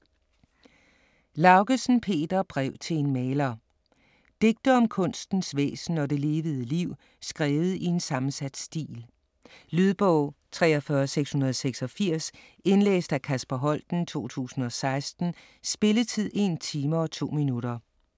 Laugesen, Peter: Brev til en maler Digte om kunstens væsen og det levede liv skrevet i en sammensat stil. Lydbog 43686 Indlæst af Kasper Holten, 2016. Spilletid: 1 time, 2 minutter.